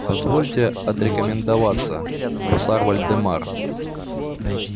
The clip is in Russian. позвольте отрекомендоваться гусар вольдемар